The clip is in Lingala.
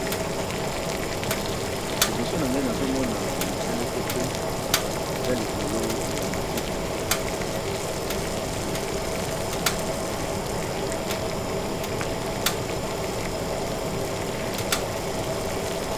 Liboso na ngai nazomona moseleke te eza likolo ya matiti.